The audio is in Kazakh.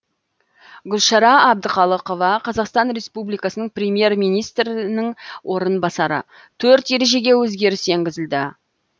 гүлшара әбдіқалықова қазақстан республикасының премьер министрінің орынбасары төрт ережеге өзгеріс енгізілді